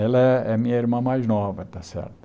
Ela é é a minha irmã mais nova, tá certo?